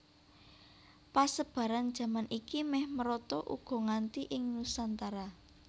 Pesebaran jaman iki méh merata uga nganti ing Nusantara